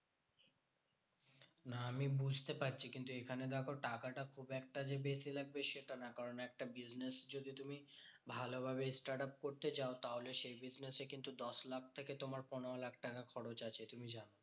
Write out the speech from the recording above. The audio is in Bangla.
না আমি বুঝতে পারছি কিন্তু এখানে দেখো টাকাটা যে খুব একটা বেশি লাগবে সেটা না। কারণ একটা business যদি তুমি ভালো ভাবে startup করতে চাও। তাহলে সেই business এ কিন্তু দশ লাখ থেকে তোমার পনেরো লাখ টাকা খরচ আছে, তুমি জানো?